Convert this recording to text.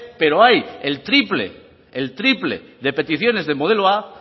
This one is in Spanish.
pero hay el triple el triple de peticiones de modelo a